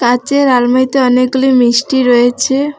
কাঁচের আলমারিতে অনেকগুলি মিষ্টি রয়েছে।